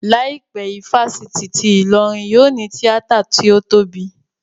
Láìpẹ́, ifásitì ti Ìlọrin yóò ní tíátà tí ó tóbi